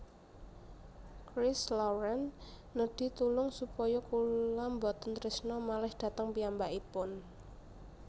Christ Lauren nedhi tulung supaya kula mboten trisno malih dhateng piyambakipun